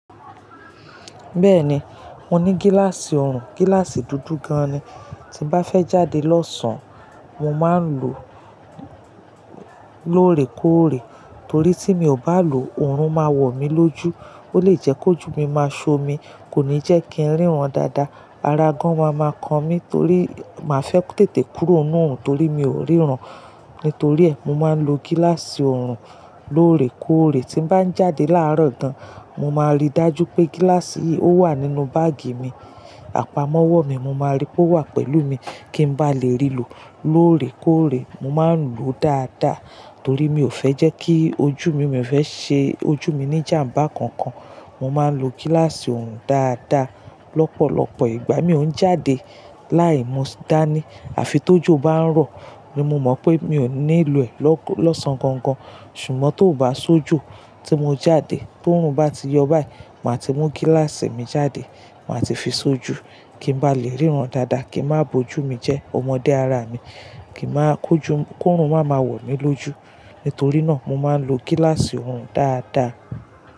Bẹ́ẹ̀ni, mo ní gíláàsì ọrùn, gíláàsì dúdú gan-an ni tí n bá fẹ́ jáde lọ́sàn, mo máa ń lò lóòrèkóòrè torí tí mi ò bá lò ó, òòrùn máa wọ̀ mí lójú, ó lè jẹ́ kójù mí máa ṣomi, kò ní jẹ́ kí n ríran dáadáa, ara gan máa ma kan mí torí màá fẹ́ tètè kúrò n nú òòrùn torí mi ò ríran. Nítorí ẹ, mo máa ń lo gíláàsì ọrùn lóòrèkóòrè tí n bá ń jáde láàárọ̀ gan, mo máa rí dájú pé gíláàsì yìí ó wà nínú báàgì mi, àpamọ́wọ́ mi mo máa rí pé ó wà pẹ̀lú mi kí n bá lè rí lò lóòrèkóòrè. Mo máa ń lò ó dáadáa torí mi ò fẹ́ jẹ́ kí ojú mi, mi ò fẹ́ ṣe ojú mi ní jàmbá kan-kan, mo máa ń lo gíláàsì ọrùn dáadáa. Lọ́pọ̀lọ́pọ̀ ìgbà mi ò ń jáde láì mú dá ní àfi tòjò bá ń rọ̀ ní mo mọ̀ pé mi ò ní lo ẹ̀ lọ́sàn gangan. Ṣùgbọ́n tóo bá ṣóòjú tí mo jáde tí òòrùn bá ti yọ báyìí, màá ti mú gíláàsì mi jáde, màá ti fi ṣojú kí n bá lè ríran dáadáa, kí n má bo ojú mí jẹ́, ọmọdé ara mi, kí n máa kó ju kó òòrùn máa ma wọ̀ mí lójú. Nítorí náà mo máa ń lo gíláàsì ọrùn dáadáa.